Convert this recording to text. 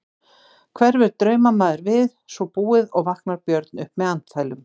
Hverfur draumamaður við svo búið og vaknar Björn upp með andfælum.